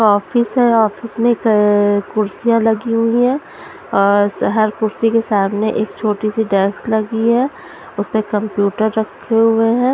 Office हैं office में कुर्सियां लगी हुई हैं और हर कुर्सी के सामने एक छोटी सी डेस्क लगी हैं उसपे कंप्यूटर रखे हुए हैं ।